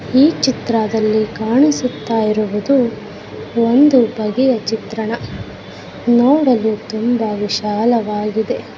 ಈ ಚಿತ್ರದಲ್ಲಿ ಕಾಣಿಸುತ್ತಾ ಇರುವುದು ಒಂದು ಬಗೆಯ ಚಿತ್ರಣ. ನೋಡಲು ತುಂಬಾ ವಿಶಾಲವಾಗಿದೆ .